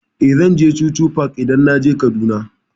Eh, zan je chuchu park idan naje Kaduna.